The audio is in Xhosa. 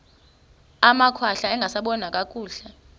amakhwahla angasaboni nakakuhle